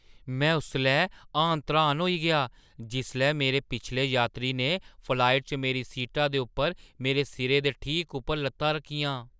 में उसलै हाण-त्राण होई गेआ जिसलै मेरे पिछड़े यात्री ने फ्लाइट च मेरी सीटा दे उप्पर मेरे सिरै दे ठीक उप्पर लत्तां रक्खियां!